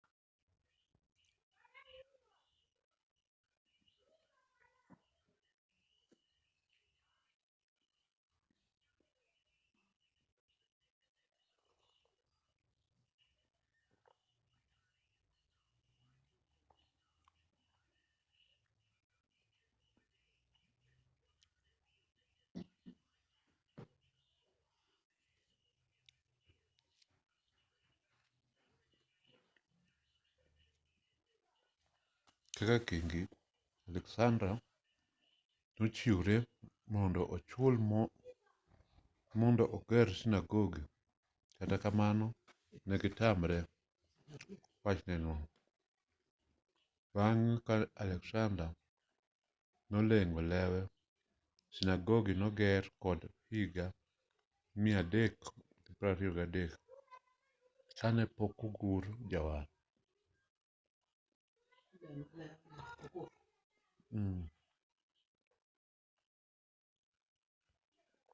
kaka kingi alexander nochiwre mondo ochul mondo oger sinagogi kata kamano negitamre wachneno bang'e ka alexander noleng'o lewe sinagogi noger kendo higa 323 kanepokogur jawar